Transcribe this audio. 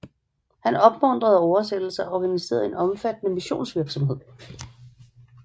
Han opmuntrede oversættelser og organiserede en omfattende missionsvirksomhed